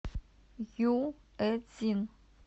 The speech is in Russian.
юэцин